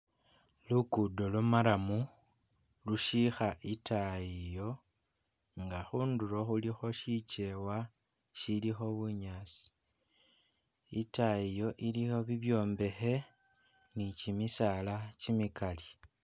Lugudo lwa maramu lushiikha itaayi iyo nga khundulo khulikho shikyewa shilikho bunyaasi itayi iyo iliyo bibyombekhe nikyimisaala kimikali